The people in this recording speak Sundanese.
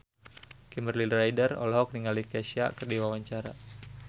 Kimberly Ryder olohok ningali Kesha keur diwawancara